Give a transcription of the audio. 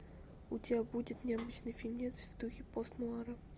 у тебя будет необычный фильмец в духе пост нуара